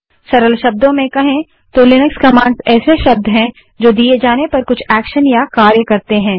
सरल शब्दों में कहें तो लिनक्स कमांड्स ऐसे शब्द हैं जो दिए जाने पर कुछ एक्शन या कार्य करते हैं